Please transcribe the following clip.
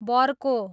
Bercow